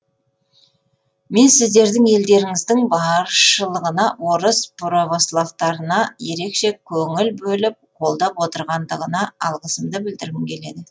мен сіздердің елдеріңіздің басшылығына орыс православтарына ерекше көңіл бөліп қолдап отырғандығына алғысымды білдіргім келеді